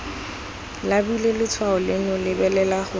labile letshwao leno lebelela gore